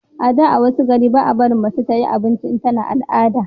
a da wasu gari basu barin mace ta yi abinci in tana al'ada